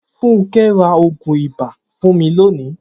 Funke ra oogun iba fun mi loni